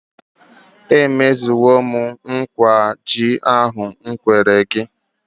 E mezuole m nkwa ji ahụ m kwere gị.